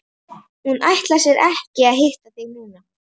Hún ætlar sér ekki að hitta þig núna.